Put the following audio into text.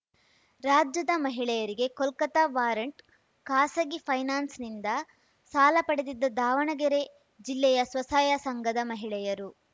ರಾಜ್ಯದ ಮಹಿಳೆಯರಿಗೆ ಕೋಲ್ಕತಾ ವಾರಂಟ್‌ ಖಾಸಗಿ ಫೈನಾನ್ಸ್‌ನಿಂದ ಸಾಲ ಪಡೆದಿದ್ದ ದಾವಣಗೆರೆ ಜಿಲ್ಲೆಯ ಸ್ವಸಹಾಯ ಸಂಘದ ಮಹಿಳೆಯರು